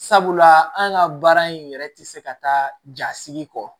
Sabula an ka baara in yɛrɛ tɛ se ka taa jasigi kɔ